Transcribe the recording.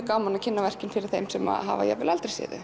gaman að kynna verkin fyrir þeim sem hafa jafnvel aldrei séð þau